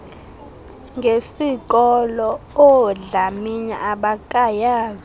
ngesikolo oodlamini abakayazi